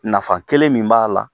Nafa kelen min b'a la